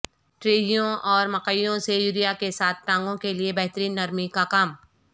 ٹریوں اور مکئیوں سے یوریا کے ساتھ ٹانگوں کے لئے بہترین نرمی کا کام